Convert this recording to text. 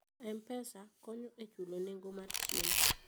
M-Pesa konyo e chulo nengo mar chiemo.